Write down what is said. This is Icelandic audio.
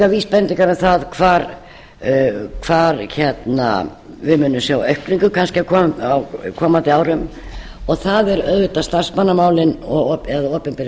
vísbendingar um það hvar við munum sjá aukningu kannski á komandi árum og það er auðvitað starfsmannamálin eða opinberir